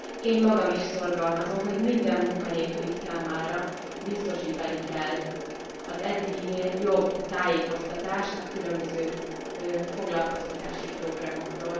Én magam is szorgalmazom, hogy minden munkanélküli számára biztosítani kell az eddiginél jobb tájékoztatást a különböző foglalkoztatási programokról.